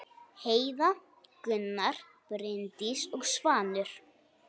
Heiða, Gunnar, Bryndís og Svanur.